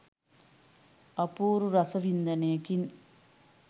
අපූරු රස වින්දනයකින්